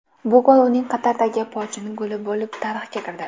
Bu gol uning Qatardagi pochin goli bo‘lib tarixga kirdi.